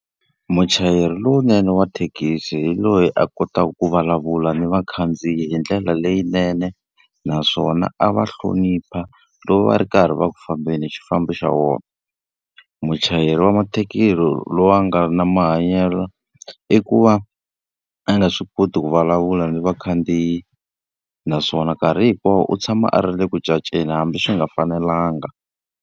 Muchayeri lowunene wa thekisi hi loyi a kotaka ku vulavula ni vakhandziyi hi ndlela leyinene, naswona a va hlonipha loko va ri karhi va ku fambeni hi xifambo xa vona. Muchayeri wa mathekisi loyi a nga ri na mahanyelo, i ku va a nga swi koti ku vulavula ni vakhandziyi, naswona nkarhi hinkwawo u tshama a ri le ku hambi swi nga fanelanga.